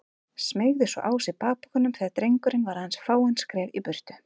Smeygði svo á sig bakpokanum þegar drengurinn var aðeins fáein skref í burtu.